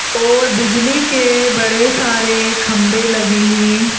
और बिजली के बड़े सारे खंबे लगे हैं।